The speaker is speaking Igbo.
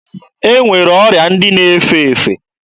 E nwere ọrịa ndị na-efe efe.